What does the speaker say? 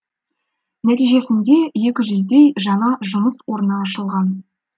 нәтижесінде екі жүздей жаңа жұмыс орны ашылған